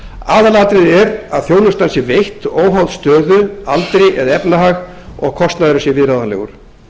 aðalatriðið er að þjónustan sé veitt óháð stöðu aldri eða efnahag og að kostnaðurinn sé viðráðanlegur